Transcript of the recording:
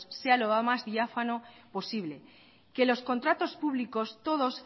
sea lo más diáfano posible que los contratos públicos todos